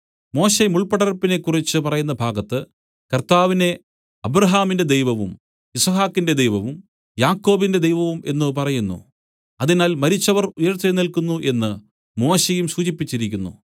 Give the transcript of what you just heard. മോശെ മുൾപ്പടർപ്പിനെ കുറിച്ച് പറയുന്ന ഭാഗത്ത് കർത്താവിനെ അബ്രാഹാമിന്റെ ദൈവവും യിസ്ഹാക്കിന്റെ ദൈവവും യാക്കോബിന്റെ ദൈവവും എന്നു പറയുന്നു അതിനാൽ മരിച്ചവർ ഉയിർത്തെഴുന്നേല്ക്കുന്നു എന്ന് മോശെയും സൂചിപ്പിച്ചിരിക്കുന്നു